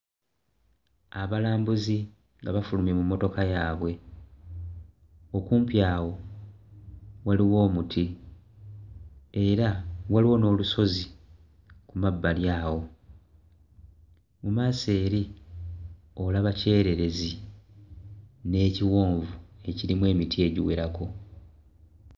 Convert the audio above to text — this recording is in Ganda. Abalambuzi nga bafulumye mu mmotoka yaabwe okumpi awo waliwo omuti era waliwo n'olusozi ku mabbali awo mmaaso eri olaba kyererezi n'ekiwonvu ekirimu emiti egiwerako.